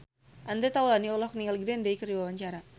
Andre Taulany olohok ningali Green Day keur diwawancara